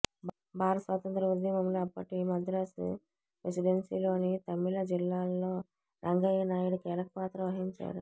భారత స్వాతంత్ర్య ఉద్యమంలో అప్పటి మద్రాసు ప్రెసిడెన్సీలోని తమిళ జిల్లాల్లో రంగయ్యనాయుడు కీలకపాత్ర వహించాడు